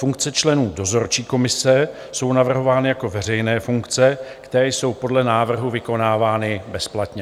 Funkce členů dozorčí komise jsou navrhovány jako veřejné funkce, které jsou podle návrhu vykonávány bezplatně.